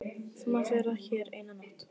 Þú mátt vera hér eina nótt.